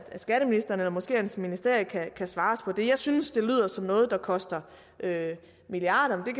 skatteministeren eller måske hans ministerie kan svare os på det jeg synes det lyder som noget der koster milliarder men